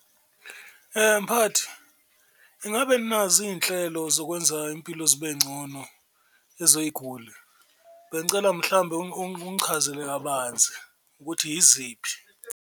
Mphakathi ingabe nazo iy'nhlelo zokwenza impilo zibe ncono ezeyiguli, bengicela mhlawumbe ungichazele kabanzi ukuthi iziphi.